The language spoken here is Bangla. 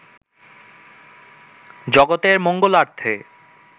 জগতের মঙ্গলার্থে